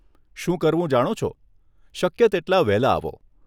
શું કરવું જાણો છો, શક્ય તેટલાં વહેલા આવો.